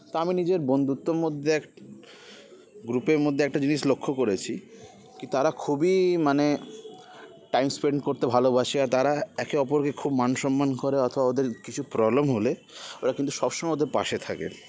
তা আমি নিজের বন্ধুত্বর মধ্যে এক group -এর মধ্যে একটা জিনিস লক্ষ্য করেছি কি তারা খুবই মানে time spend করতে ভালোবাসে আর তারা একে অপরকে খুব মান সন্মান করে অথবা ওদের কিছু problem হলে ওরা কিন্তু সবসময় ওদের পাশে থাকে